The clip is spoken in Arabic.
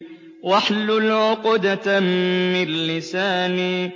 وَاحْلُلْ عُقْدَةً مِّن لِّسَانِي